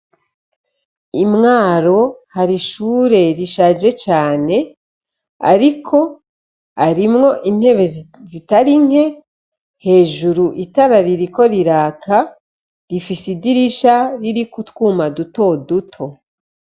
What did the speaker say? I mwaro hari ishure rishaje cane ariko harimwo intebe zitari nke hejuru itara ririko riraka rifise idirisha ririko utwuma duto duto.